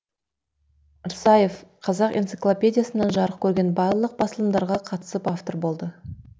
рсаев қазақ энциклопедиясынан жарық көрген барлық басылымдарға қатысып автор болды